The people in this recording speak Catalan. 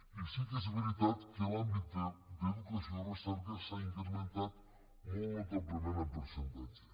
i sí que és veritat que en l’àmbit d’educació i recerca s’ha incrementat molt notablement en percentatge